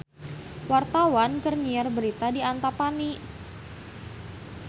Wartawan keur nyiar berita di Antapani